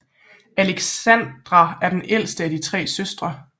Alexandra er den ældste af tre søstre